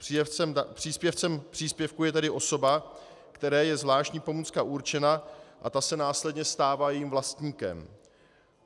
Příjemcem příspěvku je tedy osoba, které je zvláštní pomůcka určena, a ta se následně stává jejím vlastníkem.